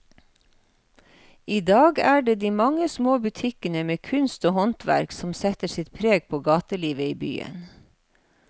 I dag er det de mange små butikkene med kunst og håndverk som setter sitt preg på gatelivet i byen.